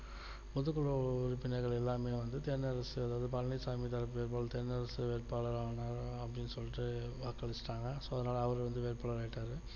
பொது குழு உறுப்பினர்கள் எல்லாமே வந்து தென்னரசு அதாவது பழனிச்சாமி தரப்புல தென்னரசு வேட்பாளரா வந்தாகணும் அப்படின்னு சொல்லிட்டு வாக்களிச்சிட்டாங்க so அவர் வந்து வேட்பாளர் ஆயிட்டாரு